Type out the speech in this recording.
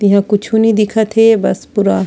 तिहा कुछु नइ दिखत हे बस पूरा--